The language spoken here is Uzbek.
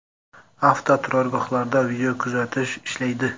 Avtoturargohlarda video kuzatish ishlaydi.